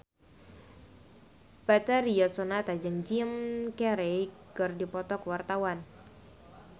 Betharia Sonata jeung Jim Carey keur dipoto ku wartawan